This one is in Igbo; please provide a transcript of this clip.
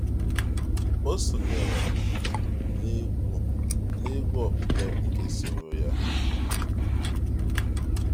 ọ sonyeere n’egwu na egwu okpukpe nke soro ya.